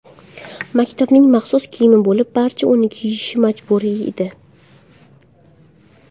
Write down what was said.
Maktabning maxsus kiyimi bo‘lib, barcha uni kiyishi majburiy edi.